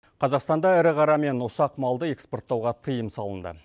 қазақстанда ірі қара мен ұсақ малды экспорттауға тиым салынды